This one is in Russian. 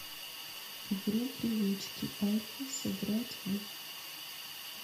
игру привычки альфа сыграть в